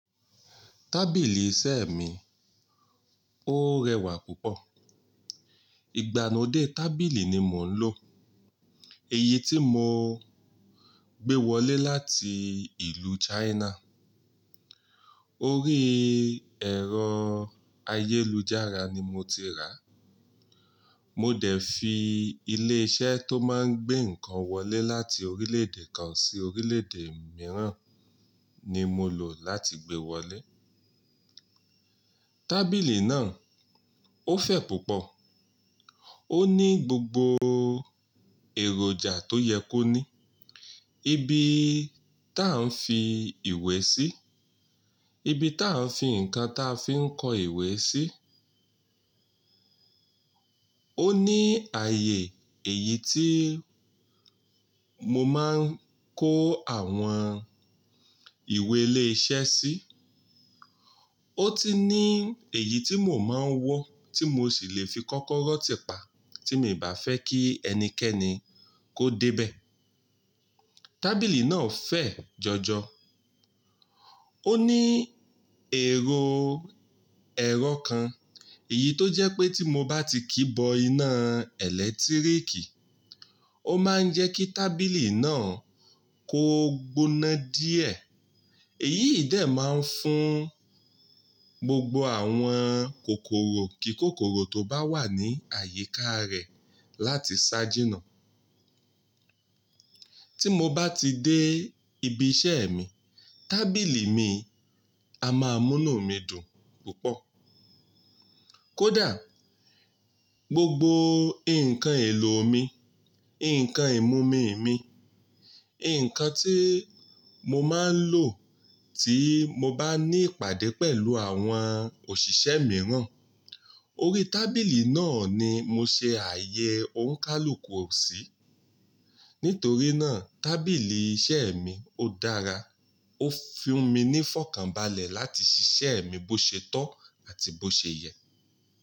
Tábìlì iṣẹ́ mi, ó rẹwà púpọ̀. Ìgbàlode tábìlì ni mò ń lò, èyí tí mo gbé wọlé láti ìlú China. Orí ẹ̀rọ ayélujára ni mo ti rà. Mo dẹ̀ fi ilé iṣẹ́ tó máa ń gbé nǹkan wọlé láti orílè-èdè kan sí orílè-èdè mìíràn ni mo lò láti gbé wọlé. Tábìlì náà ó fẹ̀ púpọ̀. Ó ní gbogbo èròjà tó yẹ kó ní. Ibi tá a ń fi ìwé sí, ibi tá a ń fi nǹkan táa fi ń kọ ìwé sí. Ó ní ààyè èyí tí mo máa ń kó àwọn ìwé ilé iṣẹ́ sí. Ó ti ní èyí tí mo máa ń wọ́ tí mo sì lè fi kọ́kọ́rọ́ tìpa tí mi ò bá fẹ́ kí ẹnikẹ́ni kó débẹ̀. Tábìlì náà fẹ̀ jọjọ. Ó ní èrò ẹ̀rọ kan, èyí tó jẹ́ pé tí mo bá ti kíbọ iná ẹ̀lẹ́tíríkì, ó máa ń jẹ́ kí tábìlì náà kó gbóná díẹ̀. Èyí ìdẹ máa ń fún gbogbo àwọn kòkòrò kí kòkòrò tó bá wà ní àyíká rẹ̀ láti ṣájínà. Tí mo bá ti dé ibi iṣẹ́ mi, tábìlì mi a máa múnu mi dùn púpọ̀. Kódà gbogbo nǹkan èlò mi, nǹkan ìmumì mi, nǹkan tí mo máa ń lò tí mo bá ní ìpàdé pẹ̀lú àwọn òṣìṣẹ́ mìíràn, orí tábìlì náà ni mo ṣe ààyè òǹikálùkù ọ̀sí. Nítorí náà tábìlì iṣẹ́ mi ó dára, ó fi mí ní fọkànbalẹ̀ láti ṣiṣẹ́ mi bó ṣe tọ́ àti bó ṣe yẹ.